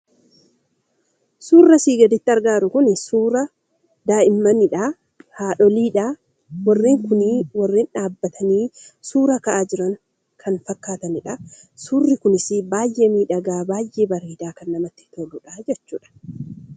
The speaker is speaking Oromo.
Suurri asiin gaditti argamu kun suura daa'immanii fi haadhoolii dha. Walitti baay'achuun suuraa ka'aa kan jiranii fi baayyee miidhagaa dha.